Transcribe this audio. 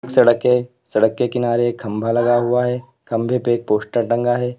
सड़क है सड़क के किनारे एक खंभा लगा हुआ है खंबे पे एक पोस्टर टंगा है।